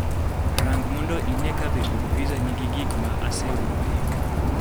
Rang mondo ine ka be od pizza nigi gik ma aseoro e yo